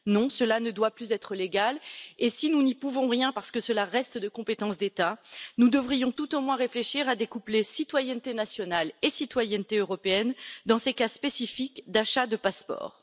Non, cela ne doit plus être légal, et si nous n'y pouvons rien parce que cela relève de la compétence des États, nous devrions tout au moins réfléchir à découpler citoyenneté nationale et citoyenneté européenne dans ces cas spécifiques d'achats de passeports.